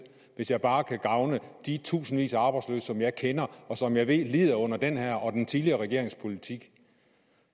hvis jeg bare kan gavne de tusindvis af arbejdsløse som jeg kender og som jeg ved lider under den her og den tidligere regerings politik